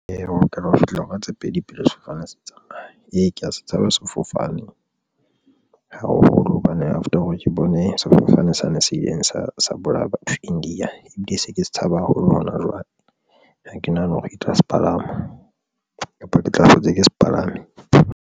Eya, o lokela ho fihla hora tse pedi. Pele sefofane se tsamaya. Ee, ke ya se tshaba sefofane haholo hobane after hore ke bone sefofane sane se ileng sa bolaya batho India, ebile se ke se tshaba haholo hona jwale. Ha ke nahane hore ke tla se palama kapa ke tla hlotse ke sepalame.